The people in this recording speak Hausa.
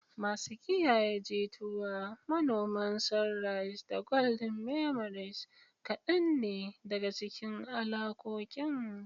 "Masu kiyaye jituwa," "Manoman Sunrise," da "Golden Memories" kadan ne daga cikin alakokin.